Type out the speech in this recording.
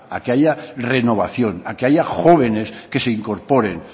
salga a que haya renovación a que haya jóvenes que se incorporen